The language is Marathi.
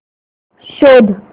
शोध